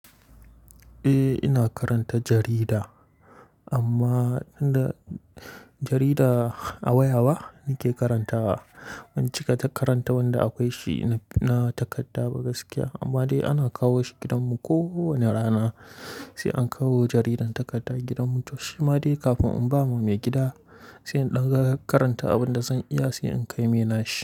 Eh ina karanta jarida amma jarida a waya ba nake karantawa. Wancan karanta wanda akwai shi na takarda ba gaskiya amma dai ana kawo shi gidanmu kowane rana. Sai an kawo jaridan takarda gidanmu to shi ma dai kafin in ba wa maigida, sai in ɗan karanta abin da zan iya sai in kai mai nashi.